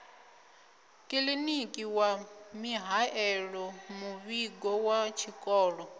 kiḽiniki wa mihaelomuvhigo wa tshikolo